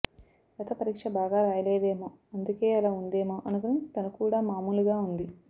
లత పరీక్ష బాగా రాయలేదేమో అందుకే అలా ఉందేమో అనుకుని తను కూడా మామూలు గా ఉంది